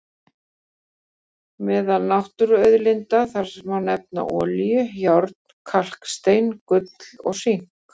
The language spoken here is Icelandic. Meðal náttúruauðlinda þar má nefna olíu, járn, kalkstein, gull og sink.